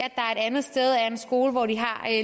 et andet sted er en skole hvor de har